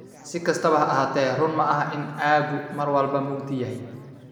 Si kastaba ha ahaatee, run maaha in aaggu mar walba mugdi yahay.